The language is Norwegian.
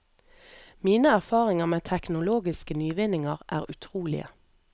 Mine erfaringer med teknologiske nyvinninger er utrolige.